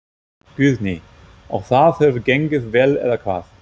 Guðný: Og það hefur gengið vel eða hvað?